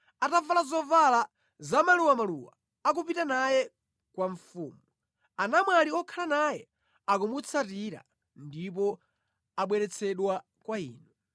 Atavala zovala zamaluwamaluwa akupita naye kwa mfumu; anamwali okhala naye akumutsatira ndipo abweretsedwa kwa inu.